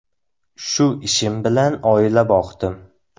– Shu ishim bilan oila boqdim.